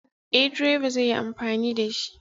Eh, direba zai yi amfani da shi.